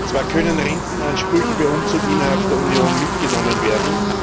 Zwar können Rentenansprüche beim Umzug innerhalb der Union mitgenommen werden.